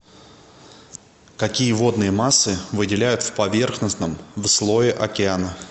какие водные массы выделяют в поверхностном в слое океана